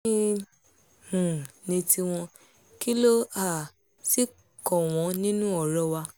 kín um ní tiwọn kí ló um sì kàn wọ́n nínú ọ̀rọ̀ wa